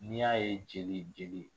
N'i y'a ye jeli jeli